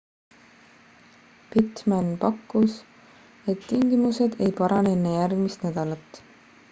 pittman pakkus et tingimused ei parane enne järgmist nädalat